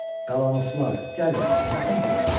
Galanoslar, gəlin, yaxın gəlin.